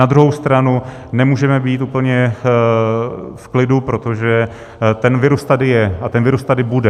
Na druhou stranu nemůžeme být úplně v klidu, protože ten virus tady je a ten virus tady bude.